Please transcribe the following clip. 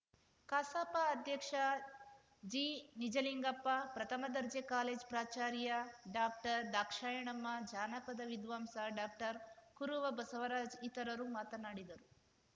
ಕಸಾಪ ಅಧ್ಯಕ್ಷ ಜಿನಿಜಲಿಂಗಪ್ಪ ಪ್ರಥಮ ದರ್ಜೆ ಕಾಲೇಜ್‌ ಪ್ರಾಚಾರ್ಯ ಡಾಕ್ಟರ್ದಾಕ್ಷಾಯಣಮ್ಮ ಜಾನಪದ ವಿದ್ವಾಂಸ ಡಾಕ್ಟರ್ಕುರುವ ಬಸವರಾಜ್‌ ಇತರರು ಮಾತನಾಡಿದರು